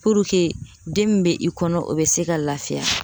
den min bɛ i kɔnɔ o bɛ se ka lafiya.